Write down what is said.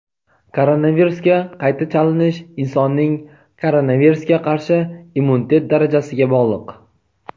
Koronavirusga qayta chalinish insonning koronavirusga qarshi immunitet darajasiga bog‘liq.